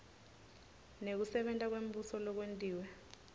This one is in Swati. nekusebenta kwembuso lokwentiwe